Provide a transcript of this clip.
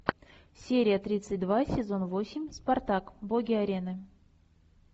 серия тридцать два сезон восемь спартак боги арены